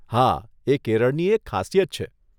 હા, એ કેરળની એક ખાસિયત છે.